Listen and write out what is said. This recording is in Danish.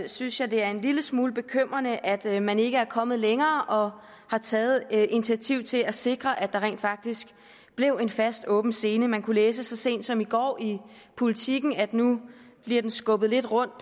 synes jeg det er en lille smule bekymrende at man ikke er kommet længere og har taget initiativ til at sikre at der rent faktisk bliver en fast åben scene man kunne læse så sent som i går i politiken at nu bliver den skubbet lidt rundt